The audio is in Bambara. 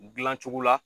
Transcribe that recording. Dilancogo la